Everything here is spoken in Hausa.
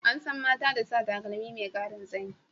An san mata da sa takalmi mai karin tsayi.